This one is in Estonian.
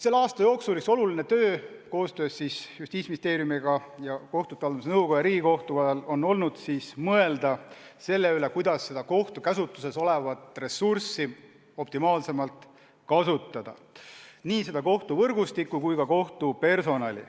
Selle aasta jooksul on üks oluline töö koostöös Justiitsministeeriumi, kohtute haldamise nõukoja ja Riigikohtuga olnud mõelda selle üle, kuidas kohtute käsutuses olevat ressurssi optimaalsemalt kasutada – nii kohtuvõrgustikku kui ka -personali.